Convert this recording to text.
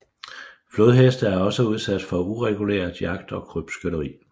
Flodheste er også udsat for ureguleret jagt og krybskytteri